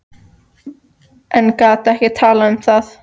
En gat ekki talað um það.